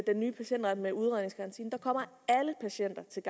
nye patientret med udredningsgarantien der kommer alle patienter til